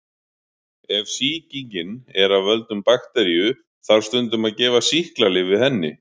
Ef sýkingin er af völdum bakteríu þarf stundum að gefa sýklalyf við henni.